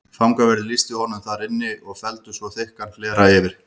Fangaverðir lýstu honum þar inn í og felldu svo þykkan hlera fyrir.